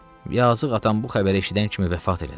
Yazıq atam bu xəbəri eşidən kimi vəfat elədi.